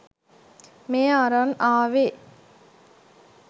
මේ අරන් ආවෙ